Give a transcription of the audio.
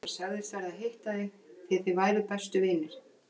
Hann sagðist verða að hitta þig því að þið væruð bestu vinir.